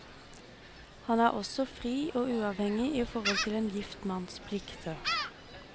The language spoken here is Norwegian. Han er også fri og uavhengig i forhold til en gift manns plikter.